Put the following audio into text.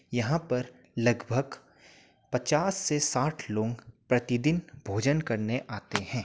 यहाँ पर लगभग पचास से साठ लोग प्रतिदिन भोजन करने आते हैं।